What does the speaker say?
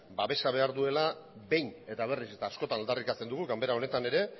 babesa behar duela behin eta berriz eta askotan aldarrikatzen dugu ganbara honetan ere